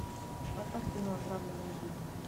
поставь кино отравленная жизнь